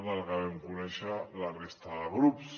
quan ho vam conèixer la resta de grups